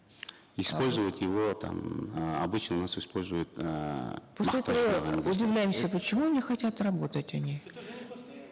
использовать его там э обычно у нас используют эээ удивляемся почему не хотят работать они